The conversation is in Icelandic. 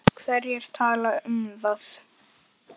Hverjir tala um það?